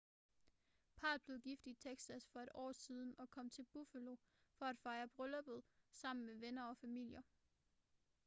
parret blev gift i texas for et år siden og kom til buffalo for at fejre brylluppet sammen med venner og familier